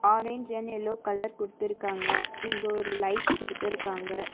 Orange and yellow colour குடுத்துருக்காங்க இங்க ஒரு லைட் குடுத்துருக்காங்க.